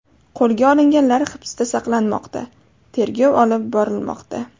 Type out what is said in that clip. Qo‘lga olinganlar hibsda saqlanmoqda, tergov olib borilmoqda.